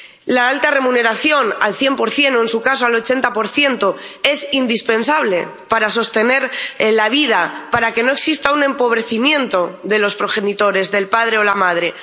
La alta remuneración al 100 o, en su caso, al 80 es indispensable para sostener la vida, para que no exista un empobrecimiento de los progenitores, del padre o de la madre.